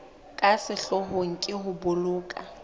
ka sehloohong ke ho boloka